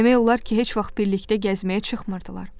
Demək olar ki, heç vaxt birlikdə gəzməyə çıxmırdılar.